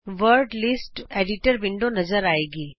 word list editor window ਨਜ਼ਰ ਆਏਗੀ